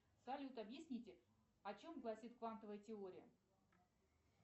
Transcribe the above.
салют объясните о чем гласит квантовая теория